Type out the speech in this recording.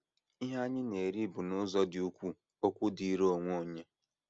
Ihe anyị na - eri bụ n’ụzọ dị ukwuu okwu dịịrị onwe onye.